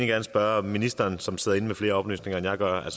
gerne spørge ministeren som sidder inde med flere oplysninger end jeg gør